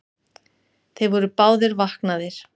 Þeir voru báðir vaknaðir.